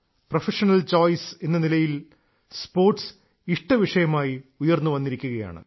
professional choice എന്ന നിലയിൽ sports ഇഷ്ടവിഷയമായി ഉയർന്നു വന്നിരിക്കുകയാണ്